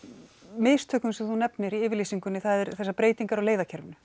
mistökum sem þú nefnir í yfirlýsingunni eru breytingar á leiðakerfinu